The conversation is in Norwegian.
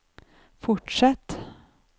fortsett